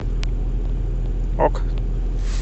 ок